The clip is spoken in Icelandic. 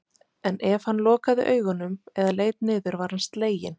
En ef hann lokaði augunum eða leit niður var hann sleginn.